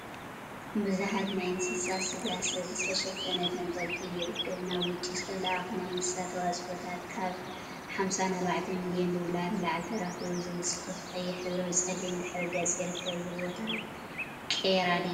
ቡዙሓት ናይ እንስሳት ስጋ ስብሒ ዝተሸፈነ ተንጠልጢሉ ይርከብ፡፡ ናብ ውጪ ዝተለአኩ ናይ እንስሳት ተዋፅኦታት ከብ 54 ሚሊየን ዶላር ንላዕሊ ተረኪቡ ዝብል ፅሑፍ ብቀይሕ ሕብሪ አብ ፀሊም ድሕረ ገፅ ይርከብ፡፡ እዚ ቦታ ቄራ ድዩ?